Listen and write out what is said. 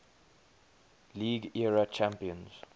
league era champions